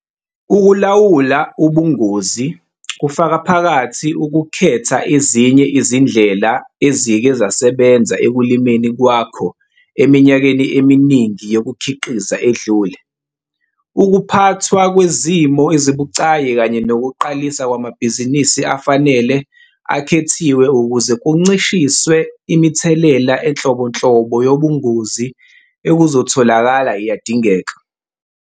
Ukulawula ubungozi kufaka phakathi ukukhetha ezinye izindlela izike zasebenza ekulimeni kwakho eminyakeni eminingi yokukhiqiza edlule. Ukuphathwa kwezimo ezibucayi kanye nokuqalisa kwamabhizinisi afanele akhethiwe ukuze kuncishiswe imithelela enhlobonhlobo yobungozi ekuzotholakala iyadingeka.